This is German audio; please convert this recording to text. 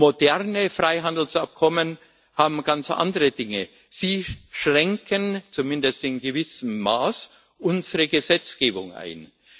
Moderne Freihandelsabkommen beinhalten ganz andere Dinge Sie schränken zumindest in gewissem Maße unsere Gesetzgebung ein.